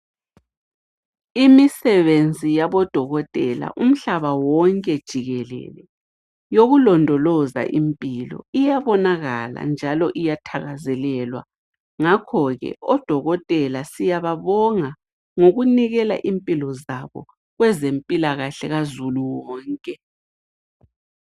Imisebenzi yabodokotela umhlaba wonke jikelele yokulondoloza impilo iyabonakala njalo iyathakazelelwa. Ngakhoke odokotela siyababonga ngokunikela impilo zabo kwezempilakahle kazulu wonke.